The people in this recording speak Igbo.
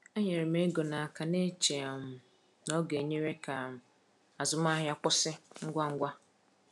E nyere m ego n’aka, na-eche um na ọ ga-enyere ka um azụmahịa kwụsị um ngwa ngwa.